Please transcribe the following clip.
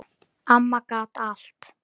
Amma gat allt.